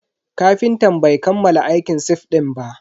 Kafintan bai kammala aikin sif din ba.